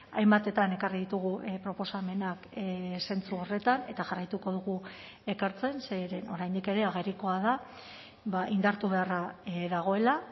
hainbatetan ekarri ditugu proposamenak zentzu horretan eta jarraituko dugu ekartzen zeren oraindik ere agerikoa da indartu beharra dagoela